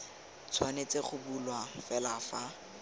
tshwanetse go bulwa fela fa